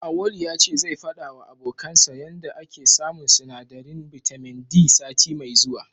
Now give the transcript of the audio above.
Auwalu ya ce zai faɗawa abokansa yanda yake samun sinadarin bitamin D sati mai zuwa.